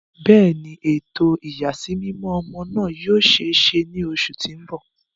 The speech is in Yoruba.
Bẹẹni, eto iyasimimọ ọmọ naa yoo ṣee ṣe ni oṣu ti n bọ.